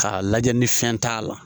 K'a lajɛ ni fɛn t'a la